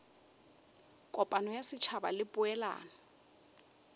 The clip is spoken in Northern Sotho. kopano ya setšhaba le poelano